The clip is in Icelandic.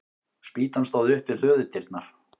Spýtan stóð upp við hlöðudyrnar.